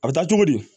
A bɛ taa cogo di